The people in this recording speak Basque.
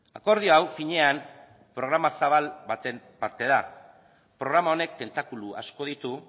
akordio hau finean programa zabal baten parte da programa honek tentakulu asko ditu